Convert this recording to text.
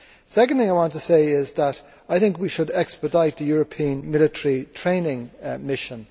Secondly, I want to say is that I was thinking we should expedite the European military training mission.